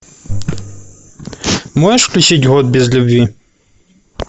можешь включить год без любви